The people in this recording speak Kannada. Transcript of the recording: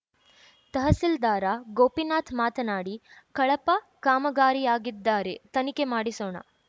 ತಹಸೀಲ್ದಾರ ಗೋಪಿನಾಥ್‌ ಮಾತನಾಡಿ ಕಳಪ ಕಾಮಗಾರಿಯಾಗಿದ್ದಾರೆ ತನಿಖೆ ಮಾಡಿಸೋಣ